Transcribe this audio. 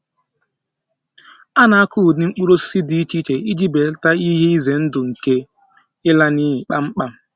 A na-akọ ụdị mkpụrụ osisi dị iche iche iji belata ihe ize ndụ nke ịla n’iyi kpamkpam.